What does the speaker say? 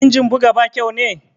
Injin buga ba kyau ne?